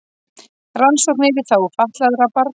Rannsóknir í þágu fatlaðra barna